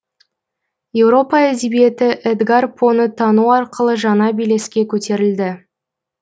еуропа әдебиеті эдгар поны тану арқылы жаңа белеске көтерілді